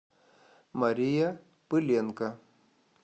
мария пыленко